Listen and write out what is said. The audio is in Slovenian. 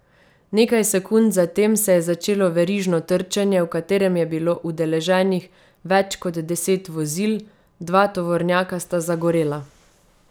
Nekaj sekund zatem se je začelo verižno trčenje, v katerem je bilo udeleženih več kot deset vozil, dva tovornjaka sta zagorela.